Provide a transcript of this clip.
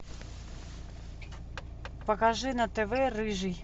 покажи на тв рыжий